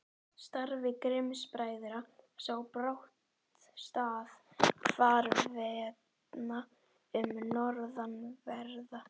Starfi Grimms-bræðra sá brátt stað hvarvetna um norðanverða